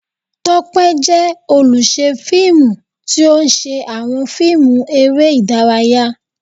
Tope jẹ oluṣẹ filmú, ti o ṣe awọn fiimú eré idàráyá